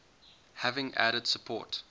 having added support